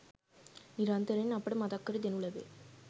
නිරන්තරයෙන් අපට මතක් කර දෙනු ලැබේ.